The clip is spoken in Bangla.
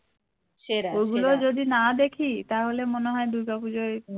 ওগুলো যদি না দেখি তাহলে মনে হয় দূর্গা পুজোয়